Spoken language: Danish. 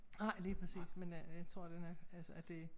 Nej lige præcis men øh jeg tror den er altså det